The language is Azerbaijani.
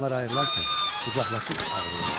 Onlar ayrılarkən qucaqlaşıb ağlayırlar.